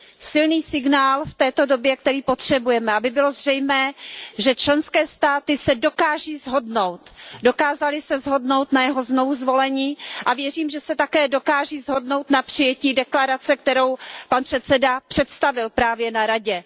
Silný signál v této době, který potřebujeme, aby bylo zřejmé, že členské státy se dokáží shodnout, dokázaly se shodnout na jeho znovuzvolení a věřím, že se také dokáží shodnout na přijetí deklarace, kterou pan předseda představil právě na Radě.